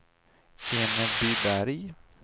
Enebyberg